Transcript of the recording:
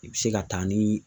I bi se ka taa ni